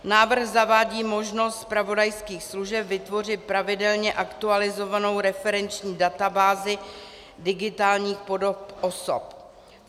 Návrh zavádí možnost zpravodajských služeb vytvořit pravidelně aktualizovanou referenční databázi digitálních podob osob.